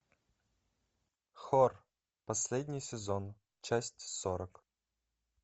хор последний сезон часть сорок